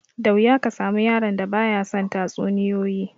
Da wuya ka samu yaron da ba ya son tatsuniyoyi